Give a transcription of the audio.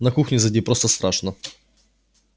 на кухню зайди просто страшно